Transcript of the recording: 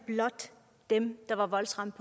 blot dem der er voldsramt